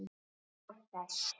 Af þess